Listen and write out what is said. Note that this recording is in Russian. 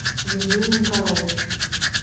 евгений николаевич